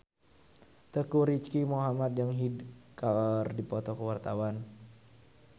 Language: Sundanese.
Teuku Rizky Muhammad jeung Hyde keur dipoto ku wartawan